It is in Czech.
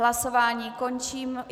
Hlasování končím.